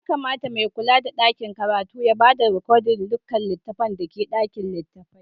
Ya kamata mai kulla da dakin karatun ya ba da rikodin dukkan littafai da ke a ɗakin littafai.